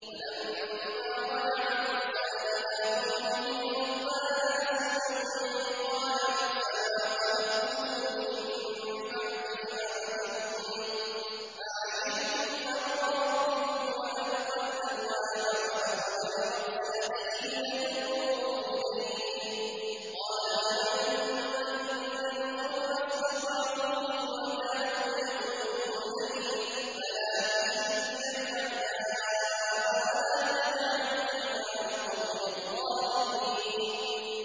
وَلَمَّا رَجَعَ مُوسَىٰ إِلَىٰ قَوْمِهِ غَضْبَانَ أَسِفًا قَالَ بِئْسَمَا خَلَفْتُمُونِي مِن بَعْدِي ۖ أَعَجِلْتُمْ أَمْرَ رَبِّكُمْ ۖ وَأَلْقَى الْأَلْوَاحَ وَأَخَذَ بِرَأْسِ أَخِيهِ يَجُرُّهُ إِلَيْهِ ۚ قَالَ ابْنَ أُمَّ إِنَّ الْقَوْمَ اسْتَضْعَفُونِي وَكَادُوا يَقْتُلُونَنِي فَلَا تُشْمِتْ بِيَ الْأَعْدَاءَ وَلَا تَجْعَلْنِي مَعَ الْقَوْمِ الظَّالِمِينَ